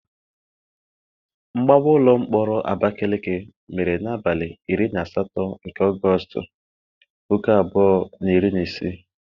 Mgbawa ụlọ mkpọrọ Abakaleke mere n'abalị iri na asatọ nke Ọgọstụ, puku abụọ na iri na isii.